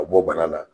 Ka bɔ bana la